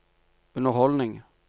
underholdning